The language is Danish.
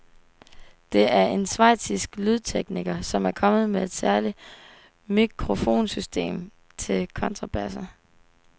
Det er en schweizisk lydtekniker, som er kommet med et særligt mikrofonsystem til kontrabasser.